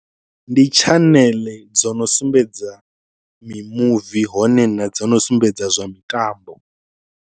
Ndi tshaneḽe dzo no sumbedza mimuvi hone na dzo no sumbedza zwa mitambo.